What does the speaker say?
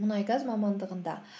мұнайгаз мамандығында